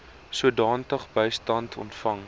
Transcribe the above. sodanige bystand ontvang